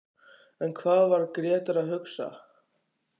En hvað var Grétar að hugsa?